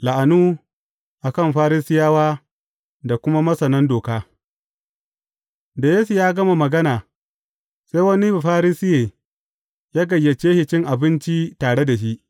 La’anu a kan Farisiyawa da kuma masanan doka Da Yesu ya gama magana, sai wani Bafarisiye ya gayyace shi cin abinci tare da shi.